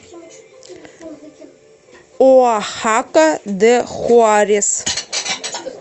оахака де хуарес